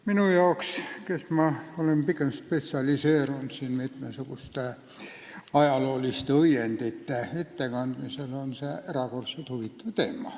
Minu arvates, kes ma olen spetsialiseerunud pigem mitmesuguste ajalooliste õiendite ettekandmisele, on see teema erakordselt huvitav.